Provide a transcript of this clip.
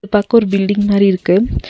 து பாக்க ஒரு பில்டிங் மாறி இருக்கு.